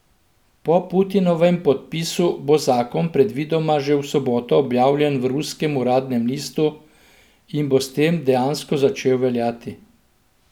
Po Putinovem podpisu bo zakon predvidoma že v soboto objavljen v ruskem uradnem listu in bo s tem dejansko začel veljati.